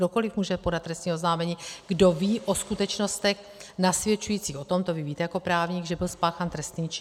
Kdokoliv může podat trestní oznámení, kdo ví o skutečnostech nasvědčujících o tom, to vy víte jako právník, že byl spáchán trestný čin.